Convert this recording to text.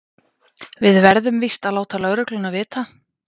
Við verðum víst að láta lögregluna vita.